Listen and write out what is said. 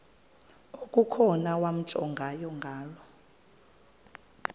okukhona wamjongay ngaloo